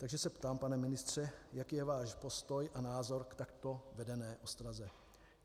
Takže se ptám, pane ministře, jaký je váš postoj a názor k takto vedené ostraze.